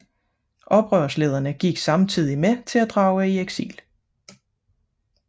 Oprørslederne gik samtidig med til at drage i eksil